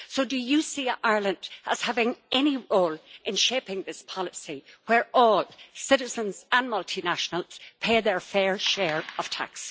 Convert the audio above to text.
Do you see Ireland as having any role in shaping this policy, where all citizens and multinationals pay their fair share of tax?